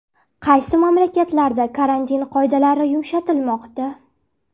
Qaysi mamlakatlarda karantin qoidalari yumshatilmoqda?